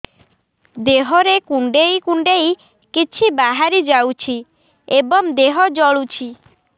ଦେହରେ କୁଣ୍ଡେଇ କୁଣ୍ଡେଇ କିଛି ବାହାରି ଯାଉଛି ଏବଂ ଦେହ ଜଳୁଛି